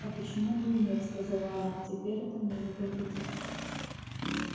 а почему бы и нет оказала она теперь это мне не повредит